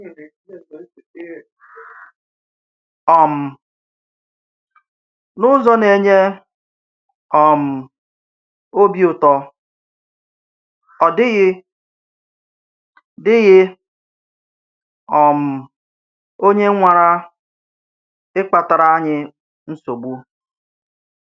um N’ụzọ̀ na-enye um ọ́bì ùtò, ọ̀ dị̀ghị dị̀ghị um onye nwárà ị̀kpatàrà anyị nsogbu